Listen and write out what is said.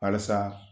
Halisa